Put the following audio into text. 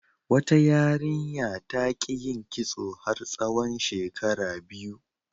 Wata yarinya ta ƙi yin kitso har tsawon shekara biyu.